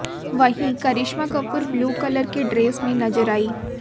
वहीं Karisma Kapoor blue colour की dress में नजर आईं